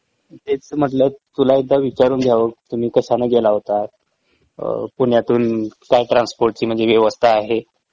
तेच म्हटलं तुला एकदा विचारून घ्यावं तुम्ही कशानं गेला होता? अ पुण्यातून काय ट्रान्स्पोर्टची म्हंजे व्यवस्था आहे?